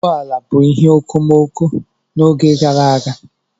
Ụgbọ ala bụ ihe okomoko n'oge gara aga.